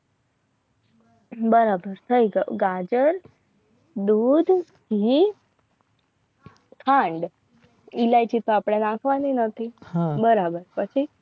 બરાબર ગાજર દૂધ ઘી ખાંડ ઈલાયચી પાપડા નાખવાની નથી બરાબર પછી